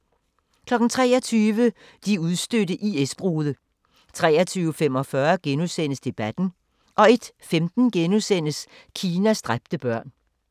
23:00: De udstødte IS-brude 23:45: Debatten * 01:15: Kinas dræbte børn *